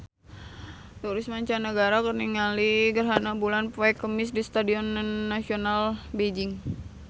Turis mancanagara keur ningali gerhana bulan poe Kemis di Stadion Nasional Beijing